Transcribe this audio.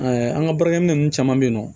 an ka baarakɛminɛ ninnu caman bɛ yen nɔ